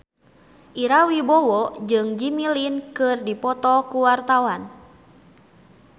Ira Wibowo jeung Jimmy Lin keur dipoto ku wartawan